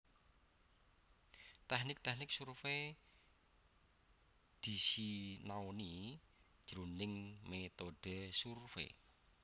Tèknik tèknik survai disinaoni jroning métodhe survei